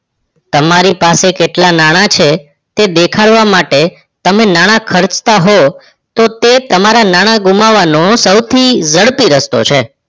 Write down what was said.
તમારી પાસે કેટલા નાણાં છે એ દેખાડવા માટે તમે નાણાં ખર્ચતા હોવ તો એ તમારા નાણાં ઘૂમવાનો સૌથી જડપી રસ્તો છે